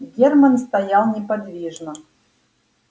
германн стоял неподвижно